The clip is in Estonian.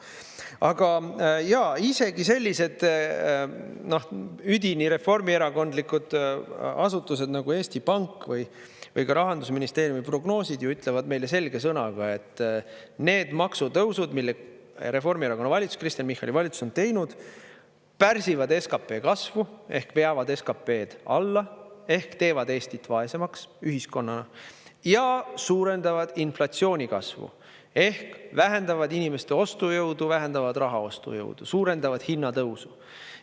Aga isegi sellised üdini reformierakondlikud asutused nagu Eesti Pank või Rahandusministeeriumi prognoosid ütlevad meile selge sõnaga, et need maksutõusud, mille Reformierakonna valitsus, Kristen Michali valitsus on teinud, pärsivad SKP kasvu ehk veavad SKP-d alla ehk teevad Eestit vaesemaks ühiskonnana ja suurendavad inflatsiooni kasvu ehk vähendavad inimeste ostujõudu, vähendavad raha ostujõudu, suurendavad hinnatõusu.